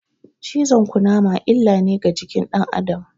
Cizon Ƙunama illa ne ga jikin dan Adam